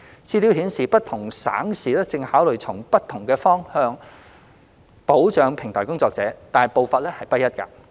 資料顯示，不同省市正考慮從不同方向保障平台工作者，但步伐不一。